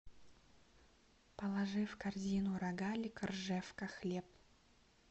положи в корзину рогалик ржевка хлеб